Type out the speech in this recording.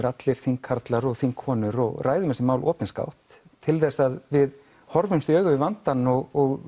allir þingkarlar og allar þingkonur og ræðum þessi mál opinskátt til að við horfumst í augu við vandann og